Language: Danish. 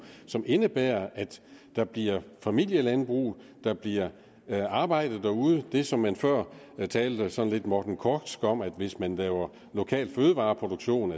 som indebærer at der bliver familielandbrug der bliver arbejde derude det som man før talte sådan lidt morten korchsk om nemlig at hvis man laver lokal fødevareproduktion